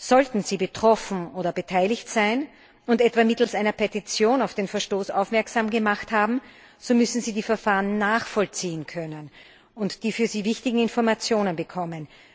Sollten sie betroffen oder beteiligt sein und etwa mittels einer Petition auf den Verstoß aufmerksam gemacht haben, so müssen sie die Verfahren nachvollziehen können und die für sie wichtigen Informationen bekommen.